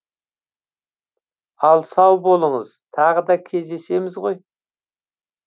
ал сау болыңыз тағы да кездесеміз ғой